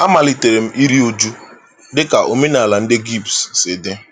Amalitere m iri uju dị ka omenaala ndị Gypsy si dị.